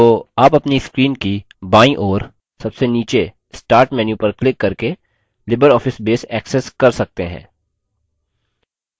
तो आप अपनी screen की बायीं ओर सबसे नीचे start menu पर क्लिक करके libreoffice base access कर सकते हैं